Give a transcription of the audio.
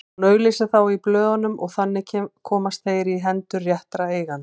Hún auglýsir þá í blöðunum og þannig komast þeir í hendur réttra eigenda.